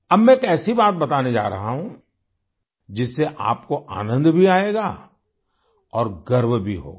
अब मैं एक ऐसी बात बताने जा रहा हूँ जिससे आपको आनंद भी आएगा और गर्व भी होगा